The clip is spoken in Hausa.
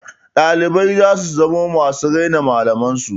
Ɗalibai za su zamo masu raina malaman su.